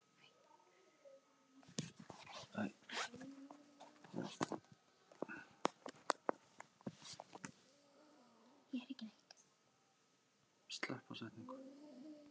Ísland fer beint í sókn.